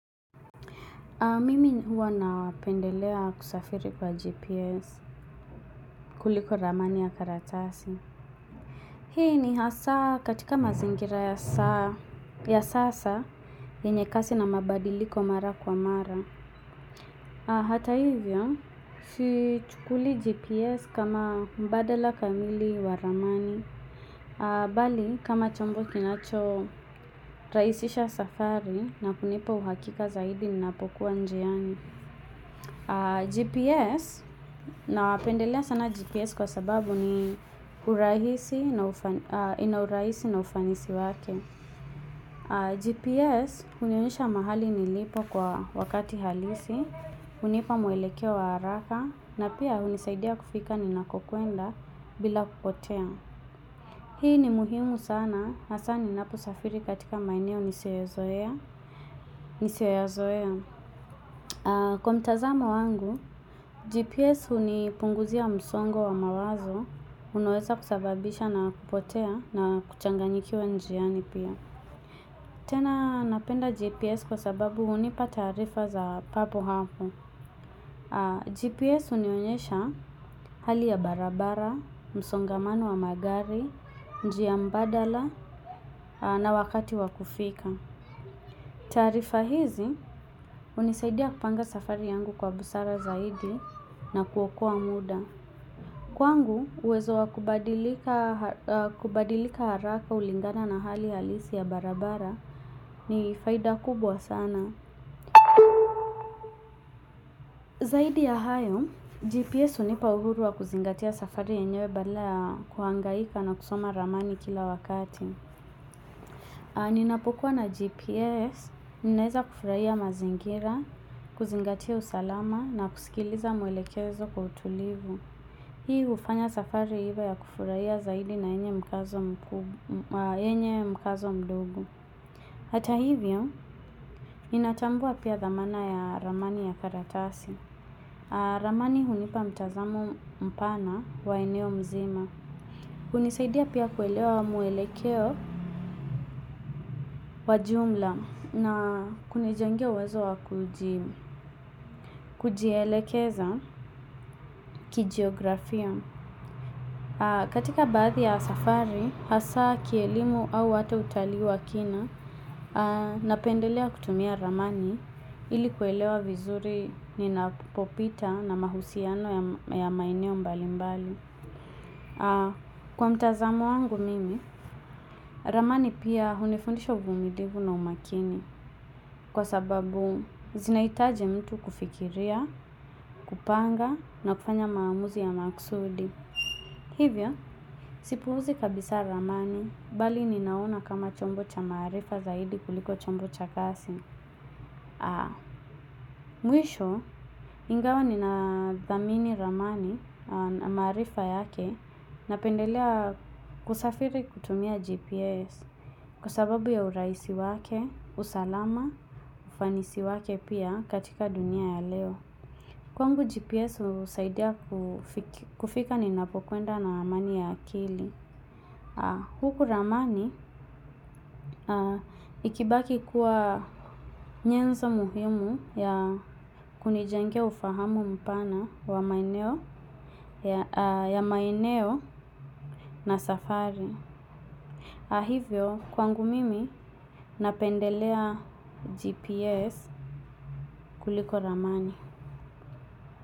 Mimi huwa napendelea kusafiri kwa GPS kuliko ramani ya karatasi. Hii ni hasa katika mazingira ya sasa yenye kasi na mabadiliko mara kwa mara. Hata hivyo, si chukulii GPS kama mbadala kamili wa ramani. Bali, kama chombo kinacho rahisisha safari na kunipa uhakika zaidi nina pokuwa njiani. Gps napendelea sana gps kwasababubina urahisi na ufanisi wake GPS hunionyesha mahali nilipo kwa wakati halisi hunipa muelekeo wa haraka na pia hunisaidia kufika ni nakokwenda bila kupotea. Hii ni muhimu sana na sana hasaa ninapo safiri katika maeneo nisiyo ya zoea. Nisioyazoea. Kwa mtazamo wangu, GPS hunipunguzia msongo wa mawazo unoweza kusababisha na kupotea na kuchanganyikiwa njiani pia. Tena napenda GPS kwa sababu hunipa tarifa za papo hapo. GPS hunionyesha hali ya barabara, msongamano wa magari, njia mbadala na wakati wakufika. Tarifa hizi, hunisaidia kupanga safari yangu kwa busara zaidi na kuokoa muda. Kwangu, uwezo wa kubadilika haraka ulingana na hali halisi ya barabara ni faida kubwa sana. Zaidi ya hayo, GPS hunipa uhuru wa kuzingatia safari enyewe badala kuhangaika na kusoma ramani kila wakati. Ninapokua na GPS, ninaeza kufurahia mazingira, kuzingatia usalama na kusikiliza mwelekezo kwa utulivu. Hii hufanya safari hivyo ya kufurahia zaidi na yenye mkazo mdogo. Hata hivyo, inatambua pia dhamana ya ramani ya karatasi. Ramani hunipa mtazamo mpana wa eneo mzima hunisaidia pia kuelewa muhelekeo wajumla na kunijengea uwezo wakujielekeza kijiografia. Katika bathi ya safari, hasa kielimu au hata utalii wa kina na pendelea kutumia ramani ili kuelewa vizuri ninapopita na mahusiano ya maeneo mbali mbali. Kwa mtazamo wangu mimi, ramani pia hunifundisha uvumilivu na umakini. Kwa sababu zinahitaji mtu kufikiria, kupanga na kufanya maamuzi ya makusudi. Hivyo, sipuhuzi kabisa ramani, bali ninaona kama chombo cha marifa zaidi kuliko chombo cha kasi. Mwisho ingawa nina dhamini ramani na maarifa yake na pendelea kusafiri kutumia GPS kwasababu ya urahisi wake, usalama, ufanisi wake pia katika dunia ya leo. Kwangu GPS husaidia kufika ninapokwenda na ramani ya akili. Huku ramani ikibaki kuwa nyenzo muhimu ya kunijengea ufahamu mpana wa maeneo ya maeneo na safari. Ahivyo, kwangu mimi napendelea GPS kuliko ramani.